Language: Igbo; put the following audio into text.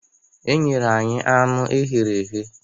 E nyere anyị anụ eghere eghe.